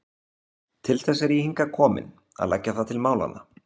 Til þess er ég hingað kominn, að leggja það til málanna.